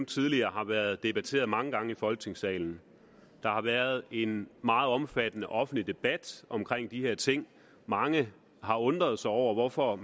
tidligere har været debatteret mange gange i folketingssalen der har været en meget omfattende offentlig debat om de her ting mange har undret sig over hvorfor